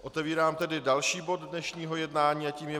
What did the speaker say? Otevírám tedy další bod dnešního jednání a tím je